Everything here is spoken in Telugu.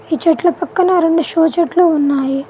ఈ చెట్ల పక్కన రెండు షో చెట్లు ఉన్నాయి.